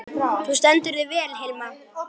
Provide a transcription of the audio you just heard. Þú stendur þig vel, Hilma!